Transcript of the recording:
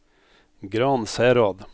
Gransherad